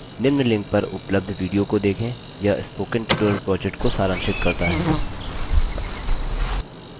निम्न link पर उपलब्ध video को देखें यह spoken tutorial project को सारांशित करता है